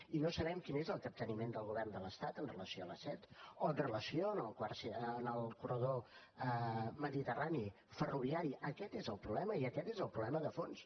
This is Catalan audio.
i no sabem quin és el capteniment del govern de l’estat amb relació a l’a set o amb relació al corredor mediterrani ferroviari aquest és el problema i aquest és problema de fons